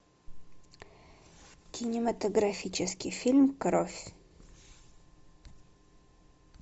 кинематографический фильм кровь